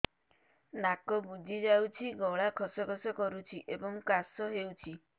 ନାକ ବୁଜି ଯାଉଛି ଗଳା ଖସ ଖସ କରୁଛି ଏବଂ କାଶ ହେଉଛି